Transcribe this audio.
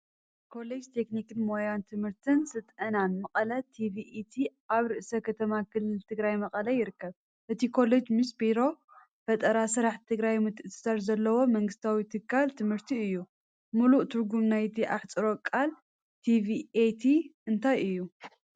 ኮሌጅ ቴክኒክን ሞያን ትምህርትን ስልጠናን መቐለ (TVET) ኣብ ርእሰ ከተማ ክልል ትግራይ መቐለ ይርከብ። እቲ ኮሌጅ ምስ ቢሮ ፈጠራ ስራሕ ትግራይ ምትእስሳር ዘለዎ መንግስታዊ ትካል ትምህርቲ እዩ። ምሉእ ትርጉም ናይቲ ኣሕጽሮተ ቃል ቲቪኤት እንታይ እዩ?